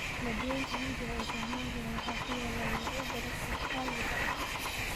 Badweynta Hindiya ee Soomaaliya waxaa ku yaal noocyo badan oo kaluunka ah.